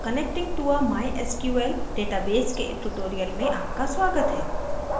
connecting to a mysql database के tutorial में आपका स्वागत है